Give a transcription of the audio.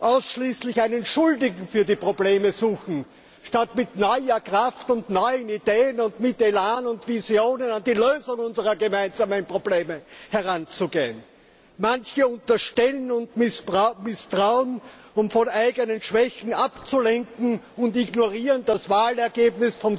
ausschließlich einen Schuldigen für die Probleme suchen, statt mit neuer Kraft und neuen Ideen, mit Elan und Visionen an die Lösung unserer gemeinsamen Probleme heranzugehen. Manche unterstellen und misstrauen, um von eigenen Schwächen abzulenken, und ignorieren das Wahlergebnis vom